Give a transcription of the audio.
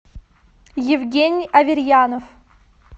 евгений аверьянов